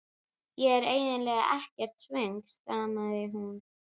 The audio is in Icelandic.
Ég er eiginlega ekkert svöng stamaði hún.